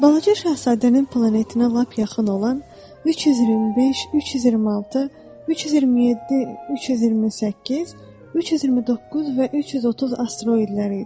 Balaca şahzadənin planetinə lap yaxın olan 325, 326, 327, 328, 329 və 330 asteroidləri idi.